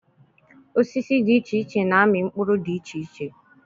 Osisi dị iche iche na-amị mkpụrụ dị iche iche.